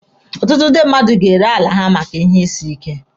Ọtụtụ ndị mmadụ ga-ere ala ha maka ihe isi ike.